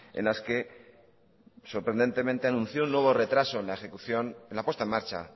en las que sorprendentemente anunció un nuevo retraso en la ejecución en la puesta en marcha